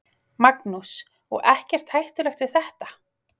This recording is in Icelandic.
Magnús: Og ekkert hættulegt við þetta?